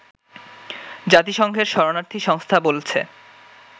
জাতিসংঘের শরণার্থী সংস্থা বলছে